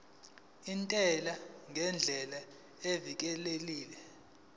intela ngendlela evikelekile